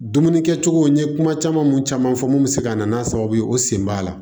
Dumuni kɛcogo n ye kuma caman mun caman fɔ mun bɛ se ka na n'a sababu ye o sen b'a la